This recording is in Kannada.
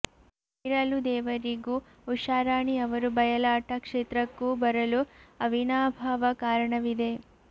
ಪೀರಲು ದೇವರಿಗೂ ಉಷಾರಾಣಿ ಅವರು ಬಯಲಾಟ ಕ್ಷೇತ್ರಕ್ಕೂ ಬರಲು ಅವಿನಾಭಾವ ಕಾರಣವಿದೆ